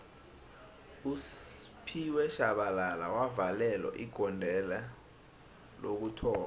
usphiwe shabalala wavalelo igodelo lokuthoma